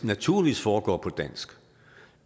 naturligvis foregår på dansk